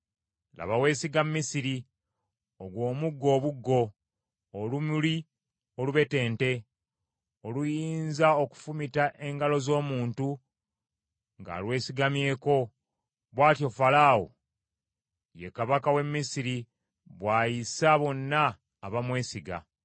Laba weesiga Misiri, ogwo omuggo obuggo, olumuli olubetente, oluyinza okufumita engalo z’omuntu ng’alwesigamyeko: bw’atyo Falaawo, ye kabaka w’e Misiri bw’ayisa bonna abamwesiga.’